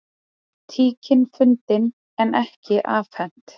Tíkin fundin en ekki afhent